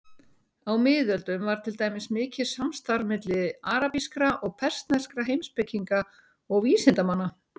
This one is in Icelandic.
Á miðöldum var til dæmis mikið samstarf milli arabískra og persneskra heimspekinga og vísindamanna.